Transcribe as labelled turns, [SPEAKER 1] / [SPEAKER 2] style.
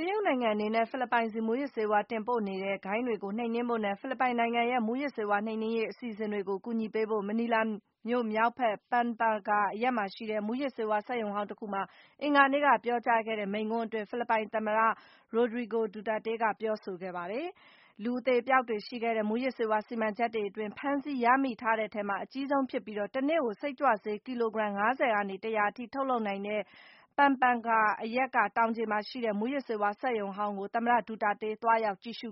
[SPEAKER 1] ရုတ်နိုင်ငံအနေနဲ့ ဖိလစ်ပိုင်ဆီ မူးယစ်ဆေးဝါး တင်ပို့နေတဲ့ ဂိုဏ်းတွေကို နှိမ်နင်းဖို့နဲ့ ဖိလစ်ပိုင်နိုင်ငံရဲ့ မူးယစ်ဆေးဝါး နှိမ်နင်းရေး အစီအစဉ်တွေကို အကူအညီပေးဖို့ - မနီလာမြို့မြောက်ဘက် Pampanga အရပ်မှာရှိတဲ့ မူးယစ်ဆေးဝါးစက်ရုံဟောင်းတခုမှာ အင်္ဂါနေ့က ပြောကြား ခဲ့တဲ့ မိန့်ခွန်းအတွင်း ဖိလစ်ပိုင်သမ္မတ Rodrigo Duterte က ပြောဆိုခဲ့ပါတယ်။ လူအသေအပျောက်တွေရှိခဲ့တဲ့ မူးယစ်ဆေးဝါး စီမံချက်တွေအတွင်း ဖမ်းဆီးရမိထားတဲ့ထဲမှာ အကြီးဆုံးဖြစ်ပြီး - တနေ့ကို စိတ်ကြွဆေး ကီလိုဂရမ် ၅၀ ကနေ ၁၀၀ အထိ ထုတ်လုပ်နိုင်တဲ့ Pampanga အရပ်က တောင်ခြေမှာရှိတဲ့ မူးယစ်ဆေးဝါးစက်ရုံဟောင်းကို သမ္မတ ဒူတာတေး သွားရောက် ကြည့်ရှု